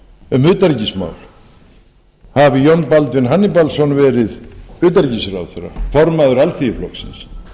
um utanríkismál hafi jón baldvin hannibalsson verið utanríkisráðherra formaður alþýðuflokksins